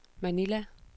Manila